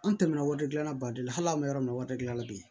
An tɛmɛna waridilan baden la hali an bɛ yɔrɔ min na wari dilan bi